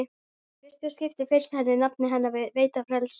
Í fyrsta skipti finnst henni nafnið hennar veita frelsi.